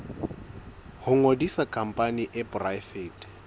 ho ngodisa khampani e poraefete